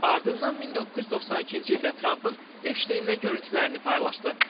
Ardından 1992-ci ildə Trampın Epşteynlə görüntülərini paylaşdı.